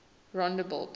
rondebult